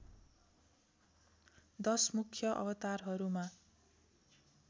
१० मुख्य अवतारहरूमा